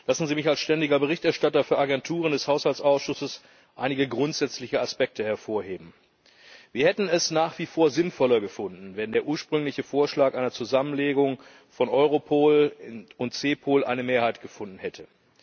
Lassen Sie mich als ständiger Berichterstatter des Haushaltsausschusses für Agenturen einige grundsätzliche Aspekte hervorheben. Wir hätten es nach wie vor sinnvoller gefunden, wenn der ursprüngliche Vorschlag einer Zusammenlegung von Europol und CEPOL eine Mehrheit gefunden hätte.